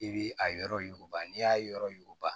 I bi a yɔrɔ yuguba n'i y'a yɔrɔ yuguba